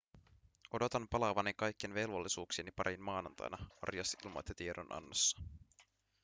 odotan palaavani kaikkien velvollisuuksieni pariin maanantaina arias ilmoitti tiedonannossa